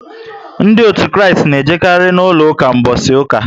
Ndị òtù Kristi na ejekari na úlọ ụka mbosi uka